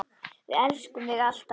Við elskum þig, alltaf.